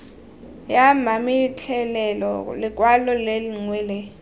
ya mametlelelo lekwalo lengwe le